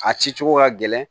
A ci cogo ka gɛlɛn